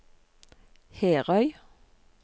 Herøy